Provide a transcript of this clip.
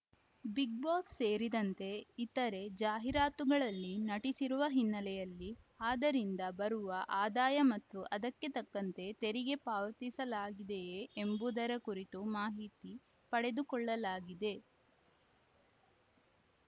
Bigg Boss ಸೇರಿದಂತೆ ಇತರೆ ಜಾಹೀರಾತುಗಳಲ್ಲಿ ನಟಿಸಿರುವ ಹಿನ್ನೆಲೆಯಲ್ಲಿ ಆದರಿಂದ ಬರುವ ಆದಾಯ ಮತ್ತು ಅದಕ್ಕೆ ತಕ್ಕಂತೆ ತೆರಿಗೆ ಪಾವತಿಸಲಾಗಿದೆಯೇ ಎಂಬುದರ ಕುರಿತು ಮಾಹಿತಿ ಪಡೆದುಕೊಳ್ಳಲಾಗಿದೆ